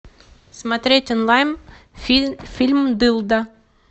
смотреть онлайн фильм дылда